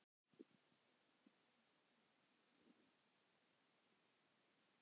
Er Katrín sammála því?